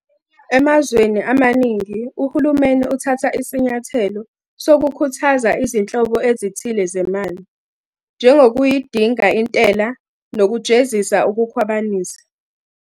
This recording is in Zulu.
Emazweni amaningi, uhulumeni uthatha isinyathelo sokukhuthaza izinhlobo ezithile zemali, njengokuyidinga intela nokujezisa ukukhwabanisa.